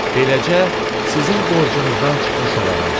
Beləcə, sizin borcunuzdan çıxmış olaram.